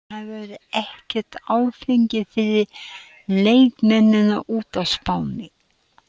Það verður ekkert áfengi fyrir leikmennina úti á Spáni.